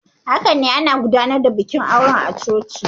Haka ne, ana gudanar da bikin auren ne a coci.